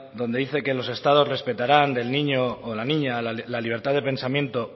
donde dice que los estados respetaran del niño o la niña la libertad de pensamiento